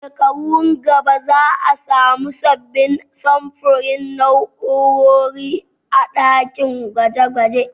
A shekarun gaba za a samu sabbin samfurin na'urori a ɗakin gwaje gwaje